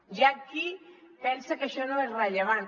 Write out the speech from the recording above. hi ha qui pensa que això no és rellevant